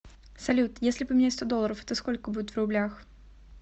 салют если поменять сто долларов это сколько будет в рублях